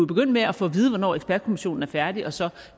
begynde med at få at vide hvornår ekspertkommissionen er færdig og så